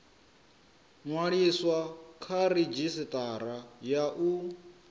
ṅwaliswa kha redzhisitara ya u